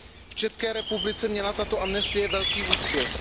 V České republice měla tato amnestie velký úspěch.